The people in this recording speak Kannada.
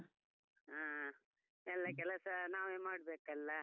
ಹಾ, ಎಲ್ಲಾ ಕೆಲಸ ನಾವೇ ಮಾಡ್ಬೇಕಲ್ಲಾ.